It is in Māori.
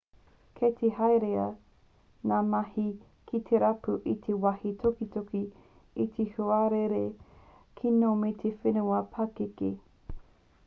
kei te herea ngā mahi ki te rapu i te wāhi tukituki e te huarere kino me te whenua pakeke